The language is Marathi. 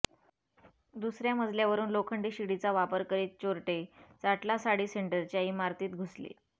दुसऱया मजल्यावरुन लोखंडी शिडीचा वापर करीत चोरटे चाटला साडी सेंटरच्या इमारतीत घुसले